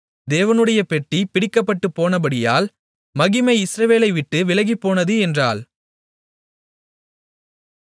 தேவனுடைய பெட்டி பிடிபட்டுப்போனபடியால் மகிமை இஸ்ரவேலை விட்டு விலகிப்போனது என்றாள்